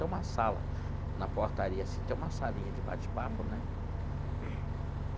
Tem uma sala na portaria assim, tem uma salinha de bate-papo né.